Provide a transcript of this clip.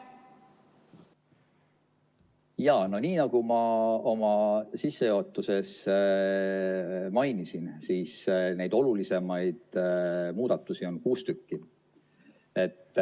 No nii, nagu ma oma sissejuhatuses mainisin, siis neid olulisemaid muudatusi on kuus tükki.